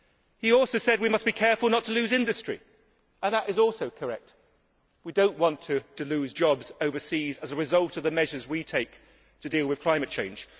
He also said that we must be careful not to lose industry, and that is also correct we do not want to lose jobs overseas as a result of the measures we take to deal with climate change.